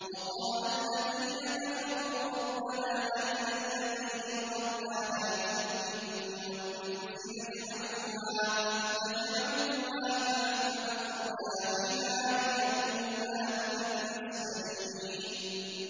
وَقَالَ الَّذِينَ كَفَرُوا رَبَّنَا أَرِنَا اللَّذَيْنِ أَضَلَّانَا مِنَ الْجِنِّ وَالْإِنسِ نَجْعَلْهُمَا تَحْتَ أَقْدَامِنَا لِيَكُونَا مِنَ الْأَسْفَلِينَ